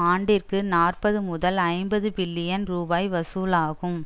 ஆண்டிற்கு நாற்பது முதல் ஐம்பது பில்லியன் ரூபாய் வசூலாகும்